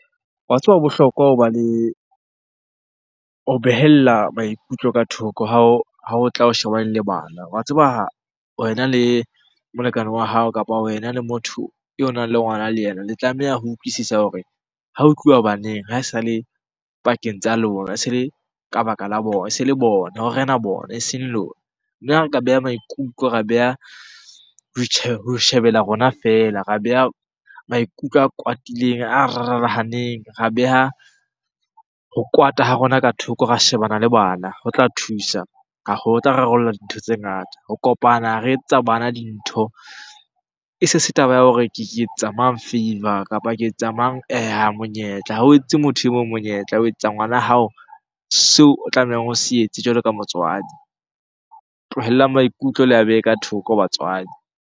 Wa tseba ho bohlokwa hoba le, ho behella maikutlo ka thoko ha o tla o shebane le bana. Wa tseba wena le molekane wa hao, kapa wena le motho o nang le ngwana le yena. Le tlameha ho utlwisisa hore ha ho tluwa baneng ha e sa le pakeng tsa lona, e se le ka baka la bona. E se le bona, ho rena bona eseng lona. Mme ha re ka beha maikutlo, ra beha ho shebella rona feela, ra beha maikutlo a kwatileng, a rarahaneng. Ra beha ho kwata ha rona ka thoko ra shebana le bana ho tla thusa . Ho tla rarolla dintho tse ngata. Ho kopana re etsetsa bana dintho, e se se taba ya hore ke etsetsa mang favor? Kapa ke etsetsa mang monyetla? Ha o etsetse motho e mong monyetla, o etsa ngwana hao seo o tlamehang o se etse jwalo ka motswadi. Tlohellang maikutlo le a behe ka thoko batswadi.